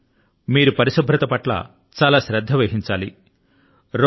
కాబట్టి మీరు పరిశుభ్రత పట్ల చాలా శ్రద్ధ వహించాలి